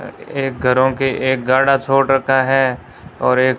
एक घरों की एक गाढ़ा छोड़ रखा है और एक--